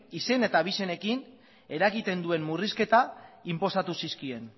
izen eta abizenekin eragiten duen murrizketa inposatu zizkien